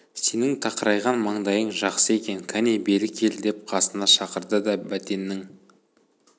сенің тақырайған маңдайың жақсы екен кәне бері кел деп қасына шақырды да бәтеннің